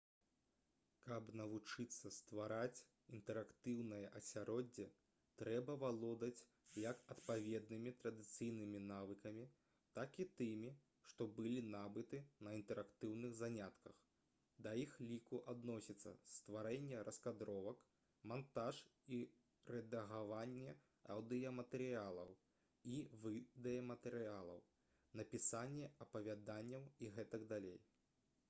каб навучыцца ствараць інтэрактыўнае асяроддзе трэба валодаць як адпаведнымі традыцыйнымі навыкамі так і тымі што былі набыты на інтэрактыўных занятках да іх ліку адносіцца стварэнне раскадровак мантаж і рэдагаванне аўдыяматэрыялаў і відэаматэрыялаў напісанне апавяданняў і г.д.